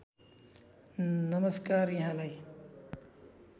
नमस्कार यहाँलाई